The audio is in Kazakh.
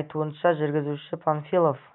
айтуынша жүргізушісі панфилов